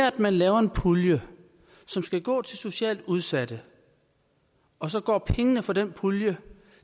at man laver en pulje som skal gå til socialt udsatte og så går pengene fra den pulje